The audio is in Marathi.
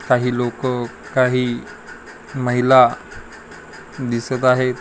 काही लोक काही महिला दिसत आहे.